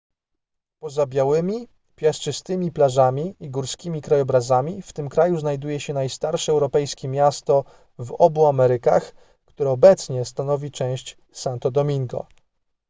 poza białymi piaszczystymi plażami i górskimi krajobrazami w tym kraju znajduje się najstarsze europejskie miasto w obu amerykach które obecnie stanowi część santo domingo